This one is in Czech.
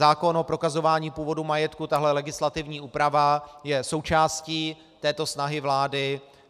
Zákon o prokazování původu majetku, tahle legislativní úprava, je součástí této snahy vlády.